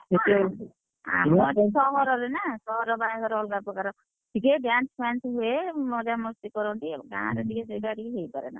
ହଁ, ଆମର ସହର ନା ସହର ବାହାଘର ଟିକେ ଅଲଗା ପ୍ରକାର, ଟିକେ dance ଫ୍ୟାନସ ହୁଏ, ମଜାମସ୍ତି କରନ୍ତି, ଗାଁରେ ଟିକେ ସେଇଟା ଟିକେ ହେଇପାରେନା।